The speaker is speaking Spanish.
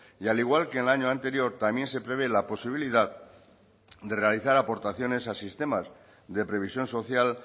y al igual que en el año anterior también se prevé la posibilidad de realizar aportaciones a sistemas de previsión social